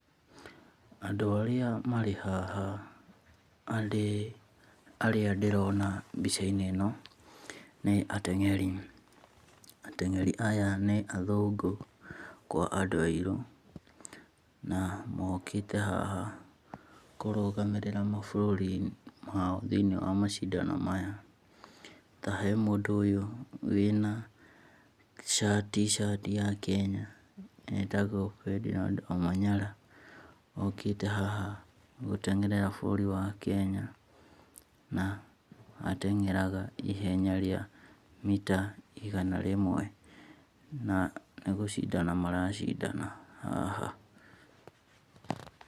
Andũ arĩa marĩ haha arĩa ndĩrona mbica~inĩ ĩno nĩ ateng'eri. Ateng'eri aya ni athũngũ kwa andũ airũ. Na mokĩte haha kũrũgamĩrĩra mabũrũri mao thĩ~inĩ wa macindano maya. Ta he mũndũ wĩna T-shirt ya kenya etagwo Ferdinard Omanyala okĩte haha gũteng'erera bũrũri wa Kenya na ateng'eraga ihenya rĩa mita igana rĩmwe na nĩ gũcindana maracindana haha.